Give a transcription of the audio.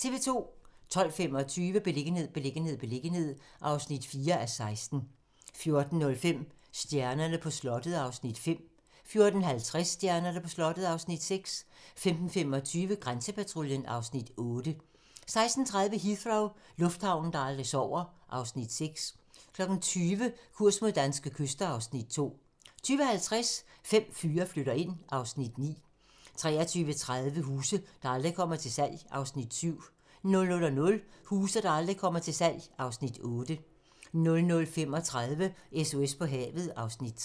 12:25: Beliggenhed, beliggenhed, beliggenhed (4:16) 14:05: Stjernerne på slottet (Afs. 5) 14:50: Stjernerne på slottet (Afs. 6) 15:25: Grænsepatruljen (Afs. 8) 16:30: Heathrow - lufthavnen, der aldrig sover (Afs. 6) 20:00: Kurs mod danske kyster (Afs. 2) 20:50: Fem fyre flytter ind (Afs. 9) 23:30: Huse, der aldrig kommer til salg (Afs. 7) 00:00: Huse, der aldrig kommer til salg (Afs. 8) 00:35: SOS på havet (Afs. 3)